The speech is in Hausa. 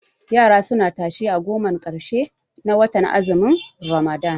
Yara suna tashe a gomar ƙarshe na watan azumin ramadan